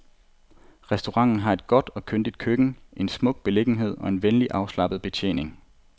Restauranten har et godt og kyndigt køkken, en smuk beliggenhed og en venlig, afslappet betjening.